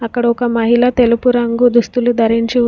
ఇక్కడ ఒక మహిళ తెలుపు రంగు దుస్తులు ధరించి ఉన్--